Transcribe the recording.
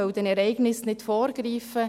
Man wolle den Ereignissen nicht vorgreifen.